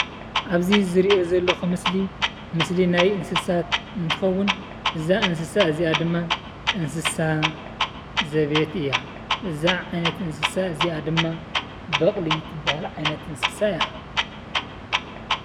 ኣብዚ ዝሪኦ ዘለኹ ምስሊ ምስሊ ናይ እንስሳት እንትኸዉን እዛ እንስሳ እዚኣ ድማ እንስሳ ዘቤት እያ። እዛ ዓይነት እንስሳ እዚኣ ድማ በቕሊ እትብሃል ዓይነት እንስሳ እያ።